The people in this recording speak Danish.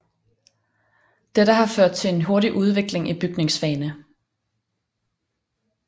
Dette har ført til en hurtig udvikling i bygningsfagene